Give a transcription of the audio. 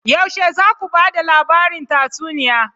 Yaushe za ku ba da labarin tatsuniya?